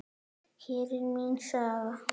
Hér er mín saga.